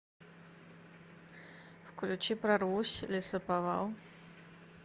включи прорвусь лесоповал